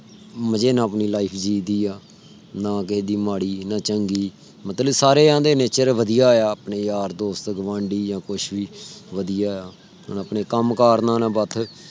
ਮਜੇ ਨਾਲ ਆਪਣੀ life ਜੀ ਦੀ ਆ। ਨਾ ਕਿਸੇ ਦੀ ਮਾੜੀ ਨਾ ਚੰਗੀ ਮਤਲਬ ਸਾਰੇ ਆਂਦੇ nature ਵਧੀਆ ਆ। ਆਪਣੇ ਯਾਰ ਦੋਸਤ ਆ ਗੁਆਂਢੀ ਯਾਂ ਕੁਛ ਭੀ ਵਧੀਆ ਆ। ਹੁਣ ਆਪਣੇ ਕਮ ਕਰ ਨਾਲ ਬਥ